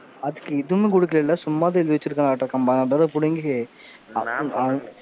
அதுக்கு இது இன்னும் கொடுக்கலைல, சும்மா தான் எழுதி வெச்சுருக்காங்க. அம்பது அம்பது ரூபாய் புடுங்கி,